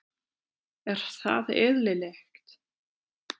Er það eðlilegt?